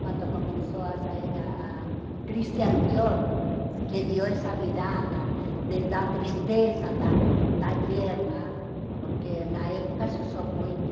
Quando começou a sair a a Christian Dior, que deu essa virada de da tristeza, da da guerra, porque na época se usou muito